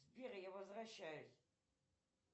сбер я возвращаюсь